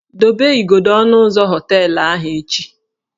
Dobe igodo ọnụ ụzọ họteelụ ahụ echi!